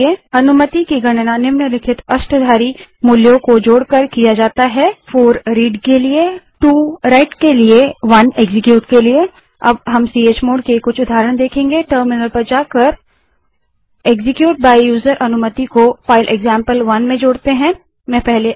अनुमतियों की गणना निम्नलिखित अष्टाधारी मूल्यों को जोड़कर की जाती है 4 रीड पढ़ना 2 Writeलिखना 1 Executeनिष्पादित करना अब हम चमोड़ के कुछ उदाहरण देखेंगे टर्मिनल पर जाएँ और execute by यूजर अनुमति को फाइल एक्जाम्पल1 में जोड़ने के लिए कमांड एंटर करें